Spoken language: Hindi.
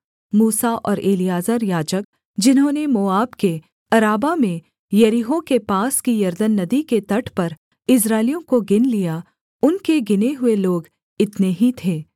मूसा और एलीआजर याजक जिन्होंने मोआब के अराबा में यरीहो के पास की यरदन नदी के तट पर इस्राएलियों को गिन लिया उनके गिने हुए लोग इतने ही थे